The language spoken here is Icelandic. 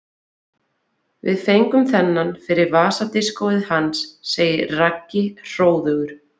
Við fengum þennan fyrir vasadiskóið hans segir Raggi hróðugur.